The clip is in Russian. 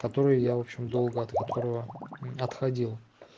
который я в общем долго от которого отходил